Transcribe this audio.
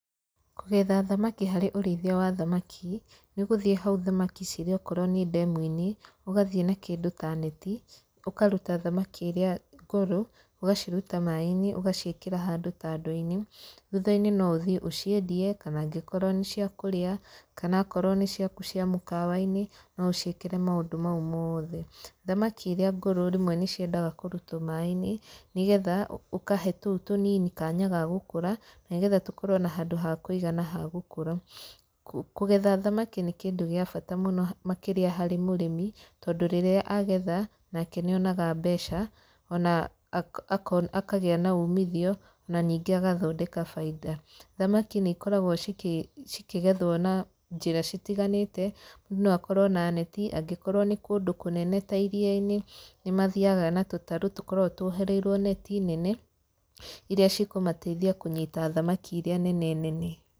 Kũgetha thamaki harĩ ũrĩithia wa thamaki, nĩ gũthiĩ hau thamaki cirĩ okoro nĩ ndemu-inĩ, ũgathiĩ na kĩndũ ta neti, ũkaruta thamaki irĩa ngũrũ, ũgaciruta maĩ-inĩ ũgaciĩkĩra handũ ta ndoo-inĩ, thutha-inĩ no ũthiĩ ũciendie kana angĩkorwo nĩ cia kũrĩa, kana akorwo nĩ ciaku cia mũkawa-inĩ no ũciĩkĩre maũndũ mau mothe. Thamaki irĩa ngũrũ rĩmwe nĩ ciendaga kũrutwo maĩ-inĩ, nĩ getha ũkahe tũu tũnini kanya ga gũkũra nĩ getha tũkorwo na handũ ha kũigana ha gũkũra. Kũgetha thamaki nĩ kĩndũ gĩa bata mũno makĩria harĩ mũrĩmi, tondũ rĩrĩa agetha, nake nĩ onaga mbeca ona akona akagĩa na umithio na ningĩ agathondeka baida. Thamaki nĩ ikoragwo cikĩgethwo na njĩra citiganĩte, mũndũ no akorwo na neti angĩkorwo nĩ kũndũ kũnene ta iria-inĩ nĩ mathiaga na tũtarũ tũkoragwo tũohereriwo neti nene irĩa cikũmateithia kũnyita thamaki irĩa nene nene.